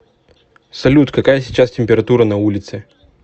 салют какая сейчас температура на улице